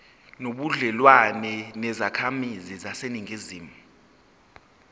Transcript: nobudlelwane nezakhamizi zaseningizimu